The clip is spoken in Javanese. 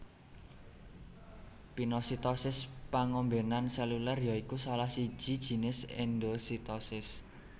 Pinositosis pangombenan seluler ya iku salah siji jinis endositosis